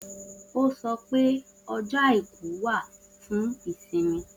O sọ pé ọjọ àìkú wa fún ìsinmi